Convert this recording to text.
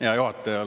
Hea juhataja!